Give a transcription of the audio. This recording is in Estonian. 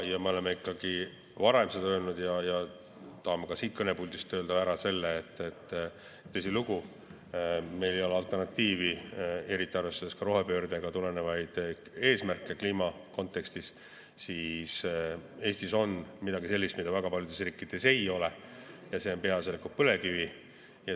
Me oleme varemgi öelnud ja tahame ka siit kõnepuldist öelda ära selle, et tõsilugu, meil ei ole alternatiivi, eriti arvestades rohepöördest tulenevaid eesmärke kliima kontekstis, aga Eestis on midagi sellist, mida väga paljudes riikides ei ole, ja see on peaasjalikult põlevkivi.